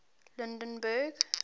lydenburg